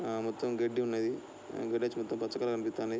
ఆ మొత్తమ్ గడ్డి ఉన్నదీ వెనకాలంతా పచ్చగా కనిపిస్దాఉంది.